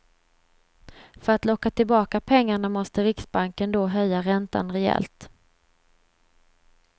För att locka tillbaka pengarna måste riksbanken då höja räntan rejält.